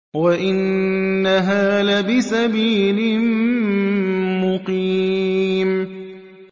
وَإِنَّهَا لَبِسَبِيلٍ مُّقِيمٍ